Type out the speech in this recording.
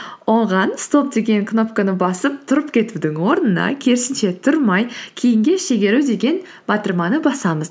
оған стоп деген кнопканы басып тұрып кетудің орнына керісінше тұрмай кейінге шегеру деген батырманы басамыз